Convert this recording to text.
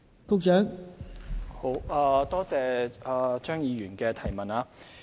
多謝張議員的補充質詢。